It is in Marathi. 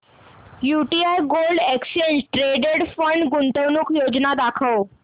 UTI gold exchange traded fund गुंतवणूक योजना दाखव